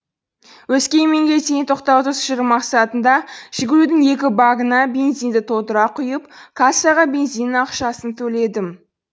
өскеменге дейін тоқтаусыз жүру мақсатында жигулидің екі багына бензинді толтыра құйып кассаға бензиннің ақшасын төледім